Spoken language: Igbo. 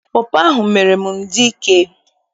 Pọpọ ahụ mere m dị ike.